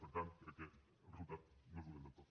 per tant crec que el resultat no és dolent del tot